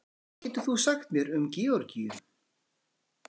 hvað getur þú sagt mér um georgíu